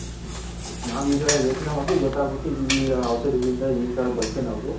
ನಾವು ಈಗ ಯೋಚನೆ ಮಾಡ್ತೀರಿ ಗೊತಗುತ್ತೆ ಈ ಔಷದಿ ಗಳಿಂದ ಈ ತರ ಬಳಸಿ ನಾವು ಮಾಡಿರೋದು ಅಂತ.